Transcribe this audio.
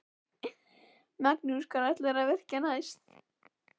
Magnús: Hvar ætlarðu að virkja næst?